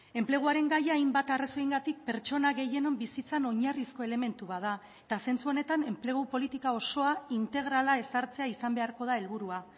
enpleguaren gaia hainbat arrazoiengatik pertsona gehienon bizitzan oinarrizko elementu bat da eta zentzu honetan enplegu politika osoa integrala ezartzea izan beharko da helburua